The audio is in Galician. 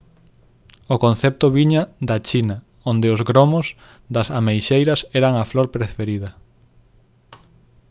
o concepto viña da china onde os gromos das ameixeiras eran a flor preferida